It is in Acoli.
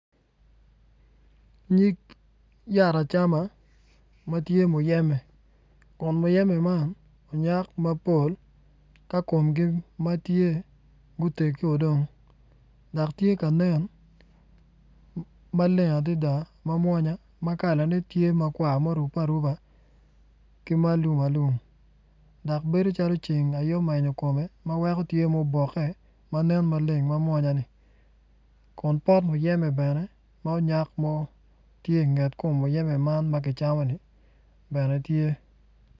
Nyig yat acama amtye muyeme kun muyeme man onyak mapol ka komgi matye gutegi dong dok tye ka nen maleng adada ma mwonya kalane tye makwar murube aruba ki ma alum alum dok bedo calo waci ceng aye ma omenyo kome ma weko bedo calo muboke ma nen maleng ma mwanyani kun pot myeme bene munyak mo tye inget kom myeme man ma kicamoni bene tye